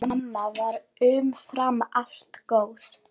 Mamma var umfram allt góð.